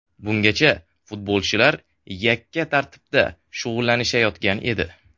Bungacha futbolchilar yakka tartibda shug‘ullanishayotgan edi.